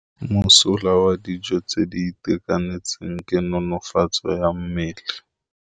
Mosola wa dijô tse di itekanetseng ke nonôfô ya mmele.